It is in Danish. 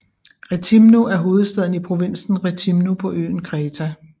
Rethimno er hovedstaden i provinsen Rethimno på øen Kreta